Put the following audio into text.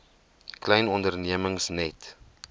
klein ondernemings net